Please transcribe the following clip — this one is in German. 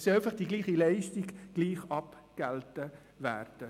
Die gleiche Leistung soll einfach gleich abgegolten werden.